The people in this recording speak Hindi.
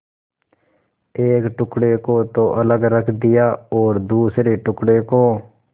एक टुकड़े को तो अलग रख दिया और दूसरे टुकड़े को